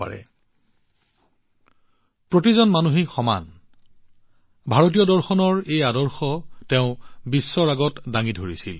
তেওঁ সমগ্ৰ মানৱজাতিক এক বুলি ভবা ভাৰতীয় দৰ্শনক পৃথিৱীৰ সন্মুখত উপস্থাপন কৰিছিল